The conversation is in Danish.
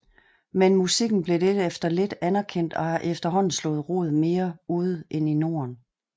Men musikken blev lidt efter lidt anerkendt og har efterhånden slået rod mere ude end i Norden